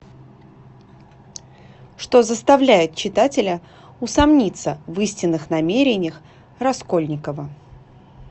что заставляет читателя усомниться в истинных намерениях раскольникова